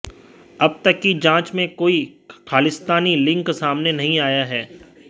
अब तक की जांच में कोई खालिस्तानी लिंक सामने नहीं आया